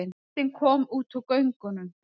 Lestin kom út úr göngunum.